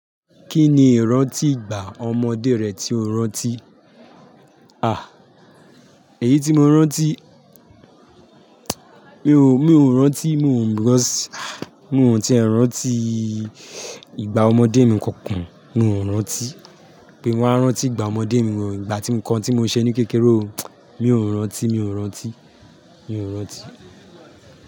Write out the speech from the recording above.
Kí ni ìrántí ìgbà ọmọdé rẹ tí o rántí? A! Èyí tí mo rántí, mi ò, mi ò rántí, mi ò, mi ò because, mi ò tíé rántí ìgbà ọmọdé mi kankan. Mi ò rántí pé mo máa rántí ìgbà ọmọdé mi ò, ìgbà tí nǹkan tí mo ṣe ní kékeré o. Mi ò rántí, mi ò rántí, mi ò rántí.